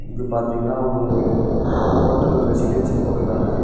இது பாத்தீங்கன்னா ஒரு ஹோட்டல் ரெசிடன்சினு போட்டுருக்காங்க.